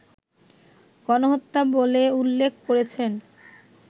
গণহত্যা বলে উল্লেখ করেছেন